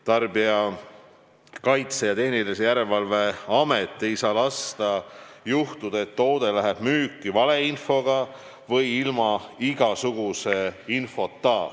Tarbijakaitse ja Tehnilise Järelevalve Amet ei saa lasta juhtuda, et toode läheb müüki valeinfoga või ilma igasuguse infota.